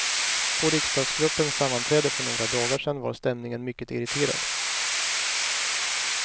På riksdagsgruppens sammanträde för några dagar sen var stämningen mycket irriterad.